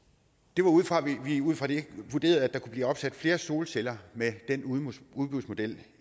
det var ud fra at vi vurderede at der kunne blive opsat flere solceller med den udbudsmodel